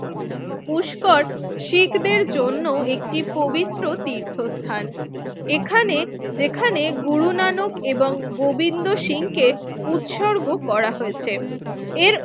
পুষ্কর শিখদের জন্য একটি পবিত্র তীর্থস্থান এখানে যেখানে গুরু নানক এবং গোবিন্দ শিংকে উৎসর্গ করা হয়েছে এর